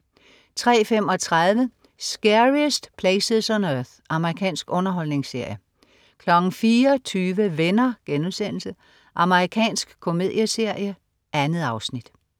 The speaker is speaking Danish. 03.35 Scariest Places on Earth. Amerikansk underholdningsserie 04.20 Venner.* Amerikansk komedieserie. 2 afsnit